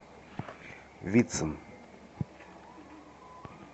вицин